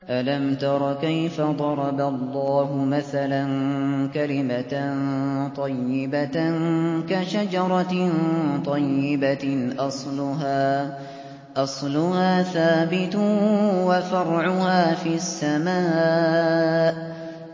أَلَمْ تَرَ كَيْفَ ضَرَبَ اللَّهُ مَثَلًا كَلِمَةً طَيِّبَةً كَشَجَرَةٍ طَيِّبَةٍ أَصْلُهَا ثَابِتٌ وَفَرْعُهَا فِي السَّمَاءِ